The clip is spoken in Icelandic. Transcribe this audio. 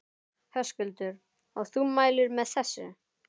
Höskuldur: Og þú mælir með þessu?